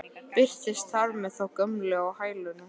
Birtist þar með þá gömlu á hælunum.